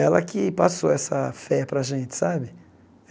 Ela que passou essa fé para a gente, sabe?